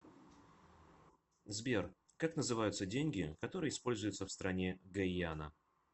сбер как называются деньги которые используются в стране гайана